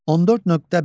14.1.